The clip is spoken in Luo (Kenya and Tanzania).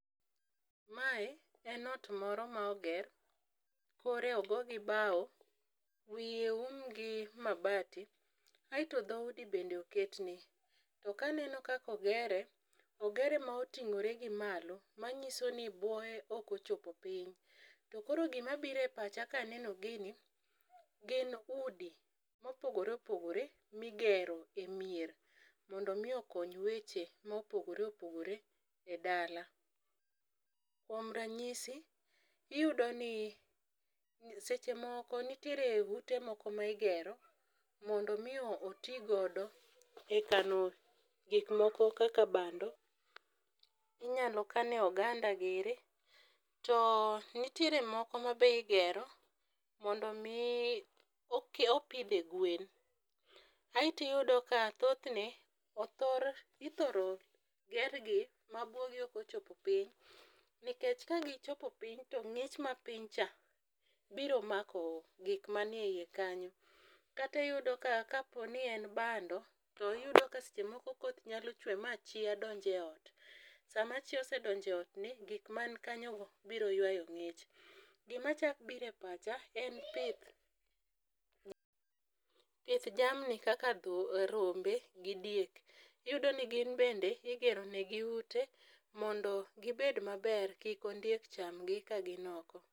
Mae en ot moro ma oger, kore ogo gi bao, wiye oum gi mabati aeto dhoudi bende oketne. To kaneno kaka ogere, ogere ma oting'ore gi malo manyiso ni buoye okochopo piny to koro gimabiro e pacha kaneno gini gin udi mopogore opogore nigero e mier mondo omi okony weche mopogore opogore e dala. Kuom ranyisi iyudo ni seche moko nitiere ute ma igero mondo omi otigodo e kano gikmomko kaka bando, inyalo kane oganda giri to nitiere moko ma be igero mondo omi opidhe gwen, aeto iyudo ka thothne ithoro gergi mabuogi okochopo piny nikech kagichopo piny to ng'ich ma piny cha biro mako gik manie iye kanyo. Katiyudo ka kaponi en bando to iyudo ka seche moko koth nyalo chwe ma chia donj e ot, sama chia osedonjo e otni gik man kanyogo biro ywa ng'ich. Gimachak biro e pacha en pith, pith jamni kaka rombe gi diek iyudo ni gin bende igeronigi ute mondo gibed maber kik ondiek chamgi kagin oko.